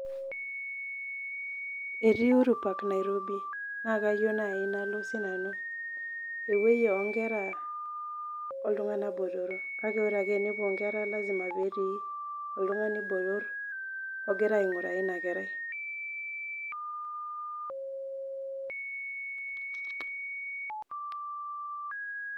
Etii Uhuru park Nairobi, naa kayio naai nalo sii nanu. Ewueji oo nkera o ltung'ana botoro, kake ore ake pee ewuo inkera na kelasima ake petii oltung'ani botor ogira aing'uraa ina kerai.